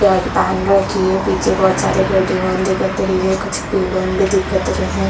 Shirt पहन रखी है पीछे बहुत सारी गाड़ी मन भी दिखत रही है कुछु पेड़ मन भी दिखत रहै है।